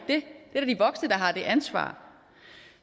voksne der har det ansvar